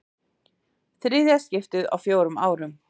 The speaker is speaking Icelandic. Í þriðja skiptið á fjórum árum.